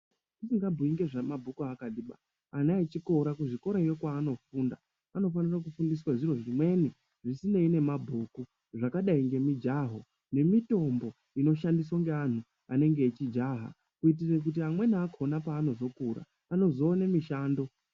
Tisingabhuyi ngezvemabhuku akatiba ana echikora kuzvikorayo kwaanofunda anofanira kufundiswa zviro zvimweni zvisinei nemabhuku zvakadai nemijaho nemitombo inoshandiswa ngeantu anenge echijaha kuitira kuti amweni akona paanozokura anozowane mishando.